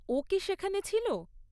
ও কি সেখানে ছিল?